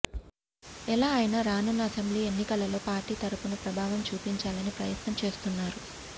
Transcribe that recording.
ఎలా అయిన రానున్న అసెంబ్లీ ఎన్నికలలో పార్టీ తరుపున ప్రభావం చూపించాలని ప్రయత్నం చేస్తున్నారు